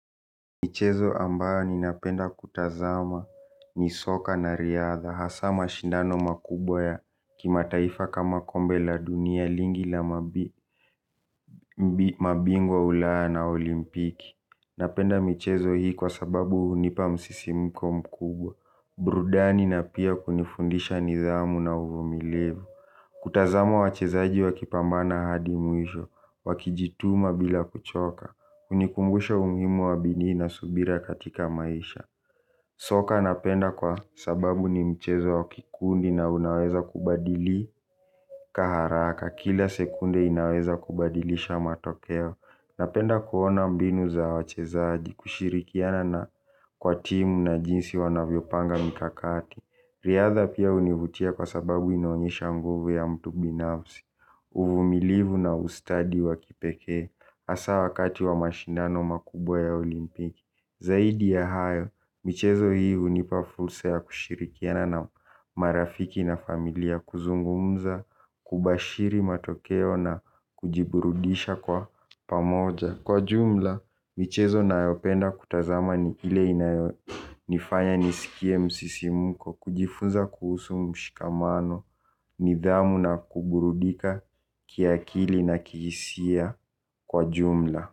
Michezo ambayo ninapenda kutazama ni soka na riadha. Hasa mashindano makubwa ya kimataifa kama kombe la dunia lingi la mabingwa wa playa na olimpiki napenda michezo hii kwa sababu hunipa msisimuko mkubwa. Burudani na pia kunifundisha nidhamu na uvumilivu. Kutazama wachezaji wakipambana hadi mwisho wakijituma bila kuchoka hunikumbusha umuhimu wa bidii na subira katika maisha. Soka napenda kwa sababu ni mchezo wa kikundi na unaweza kubadili haraka kila sekunde inaweza kubadilisha matokeo napenda kuona mbinu za wachezaji kushirikiana na kwa timu na jinsi wanavyopanga mikakati riadha pia hunivutia kwa sababu inaonyesha nguvu ya mtu binafsi. Uvumilivu na ustadi wa kipekee hasa wakati wa mashindano makubwa ya olimpiki. Zaidi ya hayo, michezo hii hunipa fursa ya kushirikiana na marafiki na familia. Kuzungumza, kubashiri matokeo na kujiburudisha kwa pamoja kwa jumla, michezo nayopenda kutazama ni ile inayonifanya nisikie msisimuko. Kujifunza kuhusu mshikamano, nidhamu na kuburudika kiakili na kihisia kwa jumla.